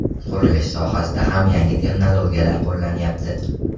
Qurilish sohasida ham yangi texnologiyalar qo‘llanyapti.